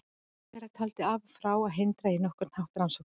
Ráðherrann taldi af og frá að hindra á nokkurn hátt rannsókn þess.